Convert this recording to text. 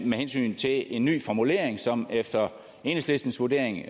med hensyn til en ny formulering som efter enhedslistens vurdering